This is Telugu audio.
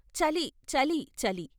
చలి చలి చలి